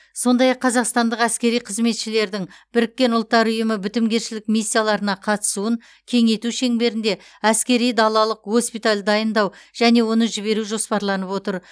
сондай ақ қазақстандық әскери қызметшілердің біріккен ұлттар ұйымы бітімгершілік миссияларына қатысуын кеңейту шеңберінде әскери далалық госпитальді дайындау және оны жіберу жоспарланып отыр